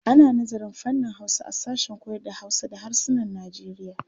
Ana nazarın fannin Hausa a sashen koyarda Hausa da harsunan Najeriya.